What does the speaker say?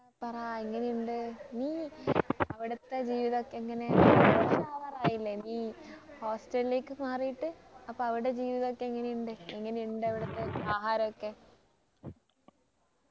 പറ എങ്ങനെയുണ്ട് നീ അവിടത്തെ ജീവിതോക്കെ എങ്ങനെ ഒരു വർഷാവാറായില്ലേ നീ hostel ലേക്ക് മാറീട്ട് അപ്പൊ അവിടെ ജീവിതം ഒക്കെ എങ്ങനെ ഉണ്ട് എങ്ങനെ ഉണ്ട് അവിടുത്തെ ആഹാരമൊക്കെ